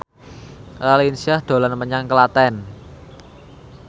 Raline Shah dolan menyang Klaten